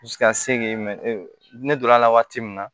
ka se k'i ne donn'a la waati min na